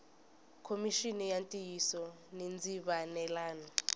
khomixini ya ntiyiso ni ndzivalelano